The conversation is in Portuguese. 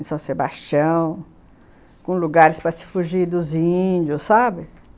Em São Sebastião, com lugares para fugir dos índios, sabe?